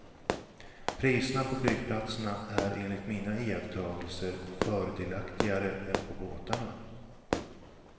Priserna på flygplatserna är enligt mina iakttagelser fördelaktigare än på båtarna.